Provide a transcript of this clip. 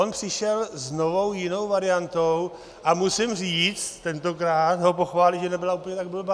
On přišel s novou, jinou variantou a musím říct, tentokrát ho pochválit, že nebyla úplně tak blbá.